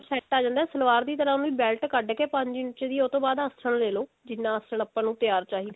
set ਆ ਜਾਂਦਾ ਸਲਵਾਰ ਦੀ ਤਰ੍ਹਾਂ ਓਵੇਂ belt ਕੱਡ ਕੇ ਪੰਜ ਇੰਚ ਦੀ ਉਹ ਤੋਂ ਬਾਅਦ ਚ ਆਸਨ ਲੇਲੋ ਜਿੰਨਾ ਆਸਨ ਆਪਾਂ ਨੂੰ ਤਿਆਰ ਚਾਹਿਦਾ ਹੈ